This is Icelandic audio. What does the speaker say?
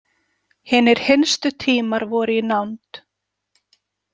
Hinir hinstu tímar voru í nánd.